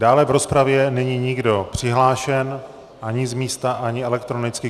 Dále v rozpravě není nikdo přihlášen ani z místa, ani elektronicky.